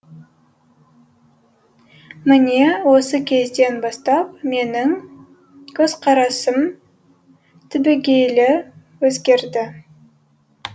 міне осы кезден бастап менің көзқарасым түбегейлі өзгерді